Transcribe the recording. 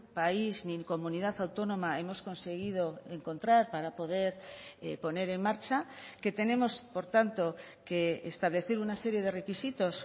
país ni en comunidad autónoma hemos conseguido encontrar para poder poner en marcha que tenemos por tanto que establecer una serie de requisitos